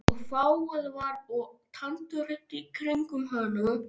Og fágað var og tandurhreint í kringum hana.